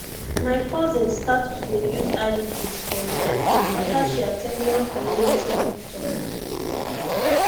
my cousin start to dey use iuds for real after she at ten d one community health talk